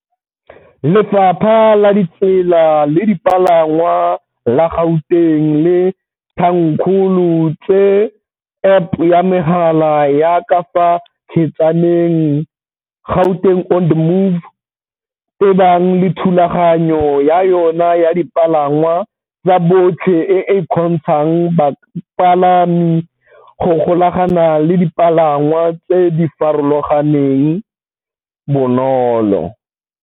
Lefapha la Ditsela le Dipalangwa la Gauteng le thankgolo tse App ya megala ya ka fa kgetsaneng, Gauteng on the Move, tebang le thulaganyo ya yona ya dipalangwa tsa botlhe e e kgontshang bapalami go golagana le dipalangwa tse di farologaneng bonolo.